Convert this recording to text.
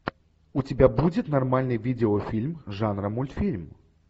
у тебя будет нормальный видеофильм жанра мультфильм